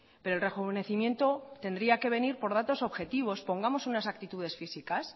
pero el rejuvenecimiento tendría que venir por datos objetivos pongamos unas aptitudes físicas